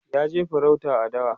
ya je farauta a dawa